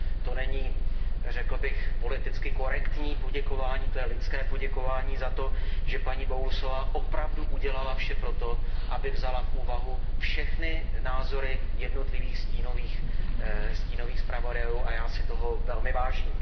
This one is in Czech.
To není, řekl bych, politicky korektní poděkování, to je lidské poděkování za to, že paní Bowlesová opravdu udělala vše pro to, aby vzala v úvahu všechny názory jednotlivých stínových zpravodajů, a já si toho velmi vážím.